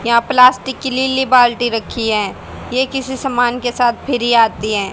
यहां प्लास्टिक की लीली बाल्टी रखी हैं ये किसी सामान के साथ फ्री आती हैं।